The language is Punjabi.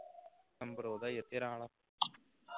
number ਉਹਦਾ ਹੀ ਹੈ ਤੇਰਾਂ ਵਾਲਾ